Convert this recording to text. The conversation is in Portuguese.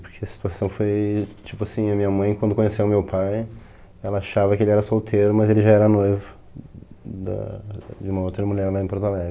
Porque a situação foi tipo assim, a minha mãe quando conheceu meu pai, ela achava que ele era solteiro, mas ele já era noivo da... uma outra mulher lá em Porto Alegre.